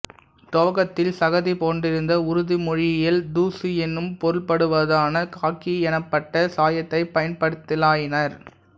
துவக்கத்தில் சகதி போன்றிருந்த உருது மொழியில் தூசு என்னும் பொருள்படுவதான காக்கி எனப்பட்ட சாயத்தைப் பயன்படுத்தலாயினர்